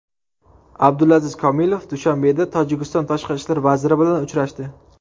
Abdulaziz Komilov Dushanbeda Tojikiston tashqi ishlar vaziri bilan uchrashdi.